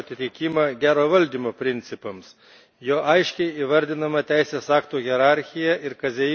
Juo aiškiai įvardijama teisės aktų hierarchija ir kazeino rinka suderinama su Maisto kodeksu.